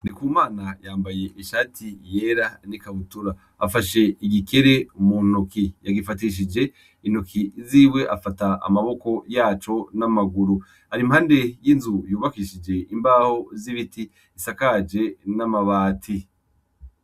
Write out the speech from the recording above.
Ndikumana yambaye ishati yera n'ikabutura afashe agikere mu ntoki, yagifatishije intoki ziwe afata amaboko yaco n'amaguru ari impande y'inzu yubakishije imbaho z'ibiti isakaje n'amabati.